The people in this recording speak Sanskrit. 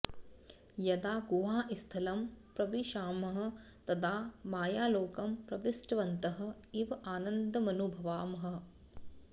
यदा गुहास्थलं प्रविशामः तदा मायालोकं प्रविष्टवन्तः इव आनन्दमनुभवामः